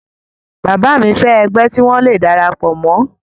bàbá mi fẹ́ ẹgbẹ́ tí wọ́n le darapọ̀ mọ́